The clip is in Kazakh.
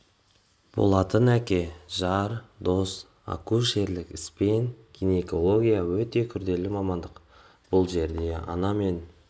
болатын әке жар дос акушерлік іс пен гинекология өте күрделі мамандық бұл жерде ана мен